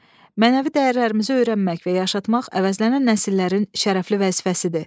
Mənəvi dəyərlərimizi öyrənmək və yaşatmaq əvəzlənən nəsillərin şərəfli vəzifəsidir.